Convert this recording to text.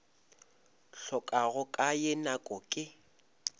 hlokago ka ye nako ke